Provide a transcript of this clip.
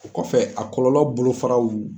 O kɔfɛ a kɔlɔlɔ bolo faraw.